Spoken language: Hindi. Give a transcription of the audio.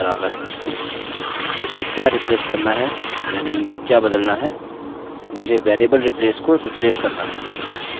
मुझे क्या रिप्लेस करना है यानि क्या बदलना है मुझे variable replace को रिप्लेस करना है